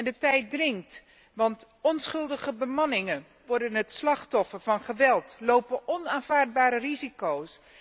De tijd dringt, want onschuldige bemanningsleden worden het slachtoffer van geweld, lopen onaanvaardbare risico's.